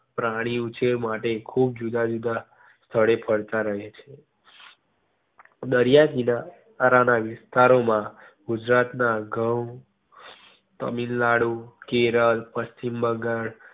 પ્રાણી ઉછેર માટે ખુબ જુદા જુદા સ્થળે ફરતા રહે છે. દરિયા કિનારા ના વિસ્તારો માં ગુજરાત માં ઘઉં તમિલનાડું, કેરળ, પશ્ચિમ બંગાળ